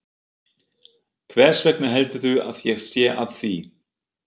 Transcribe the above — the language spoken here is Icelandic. Hversvegna heldurðu að ég sé að því?